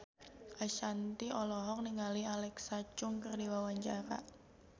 Ashanti olohok ningali Alexa Chung keur diwawancara